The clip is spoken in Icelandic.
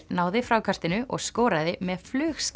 náði frákastinu og skoraði með